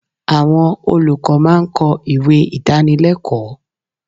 Àwọn olùkọ́ máa ń kọ ìwé Ìdánilẹ́kọ̀ọ́.